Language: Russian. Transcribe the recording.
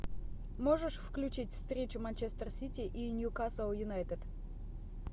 можешь включить встречу манчестер сити и ньюкасл юнайтед